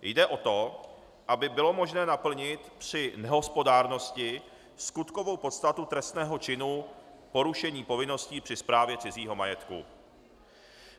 Jde o to, aby bylo možné naplnit při nehospodárnosti skutkovou podstatu trestného činu porušení povinností při správě cizího majetku.